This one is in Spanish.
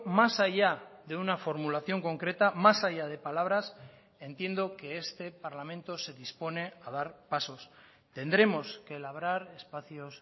más allá de una formulación concreta más allá de palabras entiendo que este parlamento se dispone a dar pasos tendremos que labrar espacios